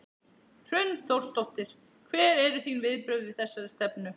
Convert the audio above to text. Hrund Þórsdóttir: Hver eru þín viðbrögð við þessari stefnu?